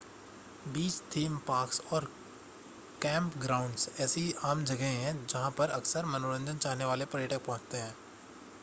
बीच theme parks और camp grounds ऐसी आम जगहें हैं जहां पर अक्सर मनोरंजन चाहने वाले पर्यटक पहुंचते हैं